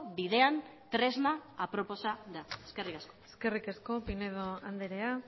bidean tresna aproposa da eskerrik asko eskerrik asko pinedo andrea